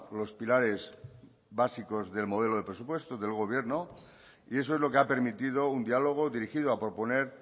los pilares básicos del modelo de presupuestos del gobierno y eso es lo que ha permitido un diálogo dirigido a proponer